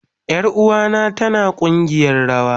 Yaruwa na tana kugiyar rawa